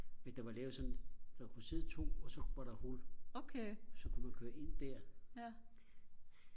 men der var lavet sådan en der kunne sidde to og så var der hul så kunne man køre ind der